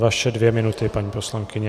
Vaše dvě minuty, paní poslankyně.